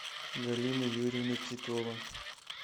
галина юрьевна титова